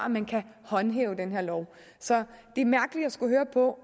at man kan håndhæve den her lov så det er mærkeligt at skulle høre på